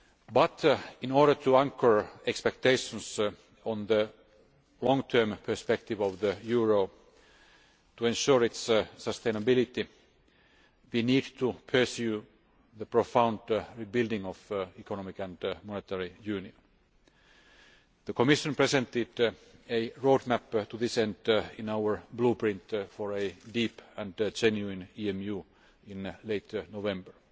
But, in order to anchor expectations on the long term perspective of the euro to ensure its sustainability, we need to pursue the profound rebuilding of Economic and Monetary Union. The Commission presented a road map to this end in our Blueprint for a deep and genuine EMU' in late November